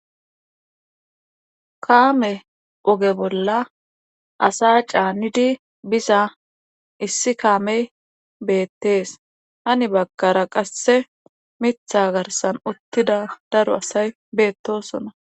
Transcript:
kaame oge bolla asa caanidi biza issi kaamey beettees hani bagkara qasse mitha garsan uttida daro asay beettosona